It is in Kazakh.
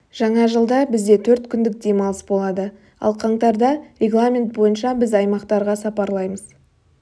жаңа жылда бізде де төрт күндік демалыс болады ал қаңтарда регламент бойынша біз аймақтарға сапарлаймыз